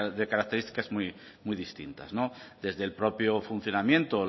de características muy distintas desde el propio funcionamiento